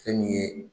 Fɛn min ye